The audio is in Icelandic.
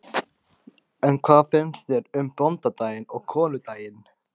En hvað finnst þér um bóndadaginn og konudaginn?